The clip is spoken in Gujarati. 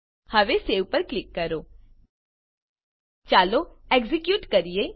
હવે સવે પર ક્લિક કરો ચાલો એક્ઝેક્યુટ કરીએ